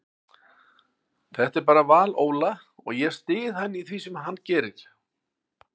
Þetta er bara val Óla og ég styð hann í því sem hann gerir.